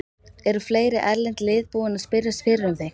Eru fleiri erlend lið búin að spyrjast fyrir um þig?